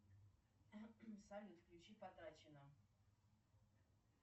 салют включи потрачено